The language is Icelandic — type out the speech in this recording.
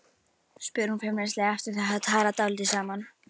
spyr hún feimnislega eftir að þau hafa talað dálítið saman.